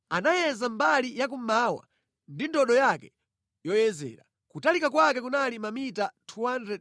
Anayeza mbali yakummawa ndi ndodo yake yoyezera; kutalika kwake kunali mamita 250.